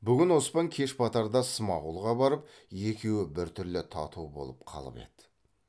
бүгін оспан кеш батарда смағұлға барып екеуі біртүрлі тату болып қалып еді